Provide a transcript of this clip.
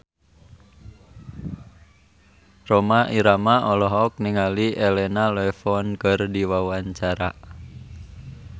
Rhoma Irama olohok ningali Elena Levon keur diwawancara